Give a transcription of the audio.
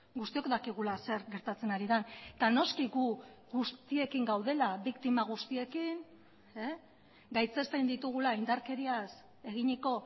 guztiok dakigula zer gertatzen ari den eta noski gu guztiekin gaudela biktima guztiekin gaitzesten ditugula indarkeriaz eginiko